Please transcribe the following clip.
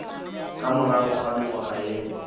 ka morago ga mengwaga ye